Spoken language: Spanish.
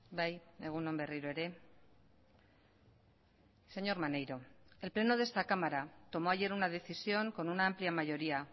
bai egun on berriro ere señor maneiro el pleno de esta cámara tomó ayer una decisión con una amplia mayoría